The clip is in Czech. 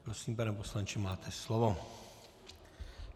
Prosím, pane poslanče, máte slovo.